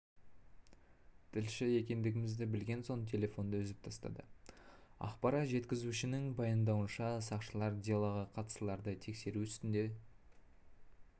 тілші екендігімізді білген соң телефонды үзіп тастады ақпарат жеткізушінің паймдауынша сақшылар делоға қатыстыларды тексеру үстінде